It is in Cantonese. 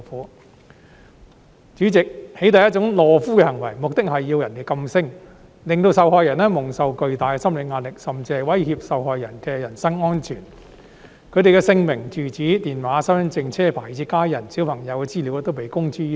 代理主席，"起底"是一種懦夫行為，目的是要人噤聲，令受害人蒙受巨大的心理壓力，甚至威脅受害人的人身安全；他們的姓名、住址、電話、身份證、車牌，以至家人和小朋友的資料都被公諸於世。